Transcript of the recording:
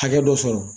Hakɛ dɔ sɔrɔ